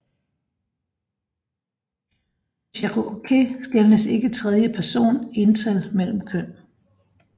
På cherokee skelnes ikke i tredje person ental mellem køn